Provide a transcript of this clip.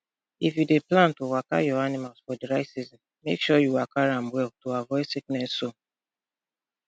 if you dey plan to waka your animals for dry season make sure you waka am well am well to avoid sickness zone